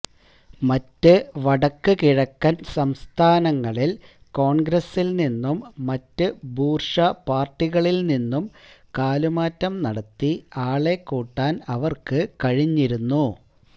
മറ്റ് വടക്ക് കിഴക്കന് സംസ്ഥാനങ്ങളില് കോണ്ഗ്രസില്നിന്നും മറ്റ് ബൂര്ഷ്വാപാര്ടികളില്നിന്നും കാലുമാറ്റം നടത്തി ആളെക്കൂട്ടാന് അവര്ക്ക് കഴിഞ്ഞിരുന്നു